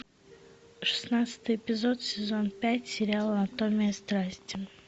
шестнадцатый эпизод сезон пять сериала анатомия страсти